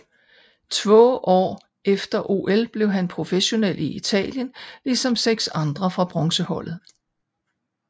Två år efter OL blev han professionel i Italien ligesom seks andre fra bronzeholdet